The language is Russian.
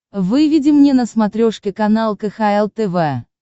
выведи мне на смотрешке канал кхл тв